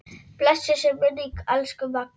Blessuð sé minning elsku Magneu.